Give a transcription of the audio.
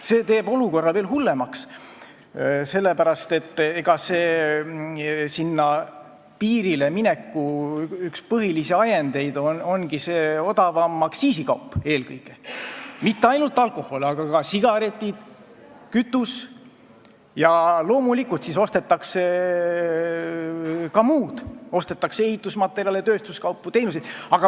See teeb olukorra veel hullemaks, sest piirikaubanduse üks põhilisi ajendeid on eelkõige odavam aktsiisikaup, mitte ainult alkohol, vaid ka sigaretid ja kütus, aga loomulikult ostetakse siis ka muud, ostetakse ehitusmaterjali ja tööstuskaupu ning tarbitakse teenuseid.